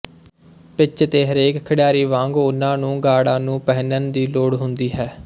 pitch ਤੇ ਹਰੇਕ ਖਿਡਾਰੀ ਵਾਂਗ ਉਹਨਾਂ ਨੂੰ ਗਾਰਡਾਂ ਨੂੰ ਪਹਿਨਣ ਦੀ ਲੋੜ ਹੁੰਦੀ ਹੈ